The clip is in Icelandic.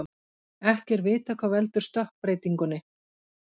Ekki er vitað hvað veldur stökkbreytingunni.